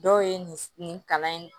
Dɔw ye nin nin kalan in